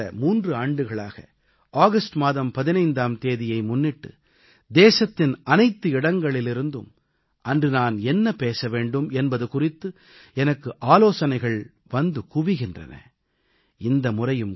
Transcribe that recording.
தொடர்ந்து கடந்த 3 ஆண்டுகளாக ஆகஸ்ட் மாதம் 15ஆம் தேதியை முன்னிட்டு தேசத்தின் அனைத்து இடங்களிலிருந்தும் அன்று நான் என்ன பேச வேண்டும் என்பது குறித்து எனக்கு ஆலோசனைகள் வந்து குவிகின்றன